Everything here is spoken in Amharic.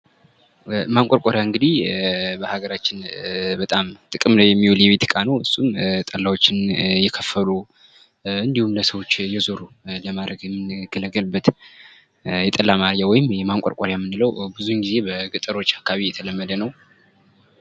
ማንቆርቆሪያ በሀገራችን በጣም ጥቅም ላይ የሚዉል የቤት እቃ ነዉ። እሱም ጠላዎችን እየከፈሉ እንዲሁም ለሰዎች እየዞሩ ለማረግ የምንገለገልበት የጠላ ማረጊያ ወይም ማንቆርቆሪያ ብዙ ጊዜ በገጠሮች አካባቢ የተለመደ ነዉ።